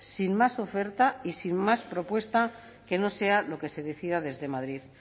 sin más oferta y sin más propuesta que no sea lo que se decida desde madrid